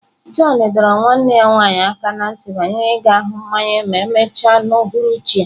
John dọrọ nwanne ya nwanyị aka ná ntị banyere ịga hụ mmawụ ma emechaa n'uhuruchi a.